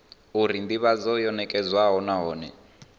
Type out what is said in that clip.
uri ndivhadzo yo nekedzwa nahone